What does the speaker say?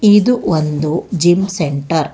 ಇದು ಒಂದು gym centre .